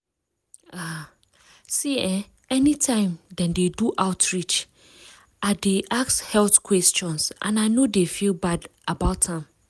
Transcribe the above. um see eh anytime dem dey do outreach i dy ask health questions and i no dey feel bad about am.